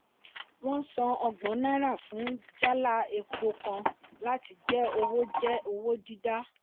wọ́n san ọgbọn náírà fún jálá epo kan láti jẹ́ owó jẹ́ owó dídá.